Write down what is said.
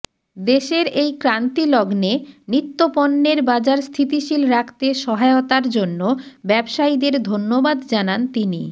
দেশের এই ক্রান্তিলগ্নে নিত্যপণ্যের বাজার স্থিতিশীল রাখতে সহায়তার জন্য ব্যবসায়ীদের ধন্যবাদ জানান তিনি